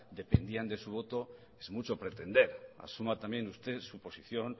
dependían de su voto es mucho pretender asuma también usted su posición